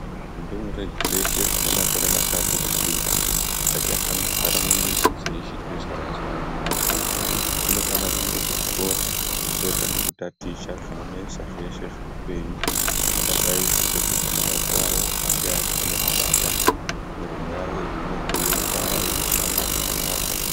Ndumure dzeshe dzine makore matatu zvichikwiraadzichafaniri kugara mumamizi dzeichiti zwayazwaya imomo dzinofanire kuende kuchikora dzotange kutaticha zvinonesa zveshe zveupenyu zvingadai zveida kuti maoko avo ange akone kubata nemiromo yavo ikone kuemba yeishama zvakanaka.